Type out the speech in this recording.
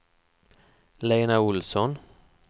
Lena Olsson